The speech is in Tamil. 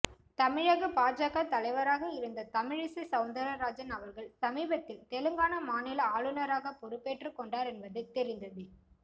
தமிழக பாஜக தலைவராக இருந்த தமிழிசை சௌந்தரராஜன் அவர்கள் சமீபத்தில் தெலுங்கானா மாநில ஆளுநராக பொறுப்பேற்றுக் கொண்டார் என்பது தெரிந்ததே